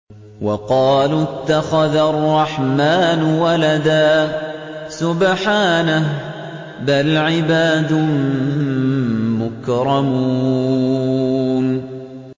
وَقَالُوا اتَّخَذَ الرَّحْمَٰنُ وَلَدًا ۗ سُبْحَانَهُ ۚ بَلْ عِبَادٌ مُّكْرَمُونَ